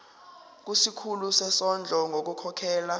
kusikhulu sezondlo ngokukhokhela